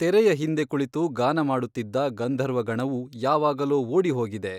ತೆರೆಯ ಹಿಂದೆ ಕುಳಿತು ಗಾನ ಮಾಡುತ್ತಿದ್ದ ಗಂಧರ್ವಗಣವು ಯಾವಾಗಲೋ ಓಡಿಹೋಗಿದೆ.